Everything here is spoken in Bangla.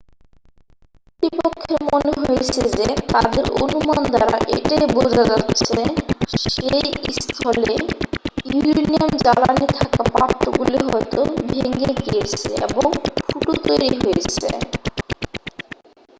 কর্তৃপক্ষের মনে হয়েছে যে তাদের অনুমান দ্বারা এটাই বোঝা যাচ্ছে সেই স্থলে ইউরেনিয়াম জ্বালানি থাকা পাত্রগুলি হয়তো ভেঙে গিয়েছে এবং ফুটো তৈরি হয়েছে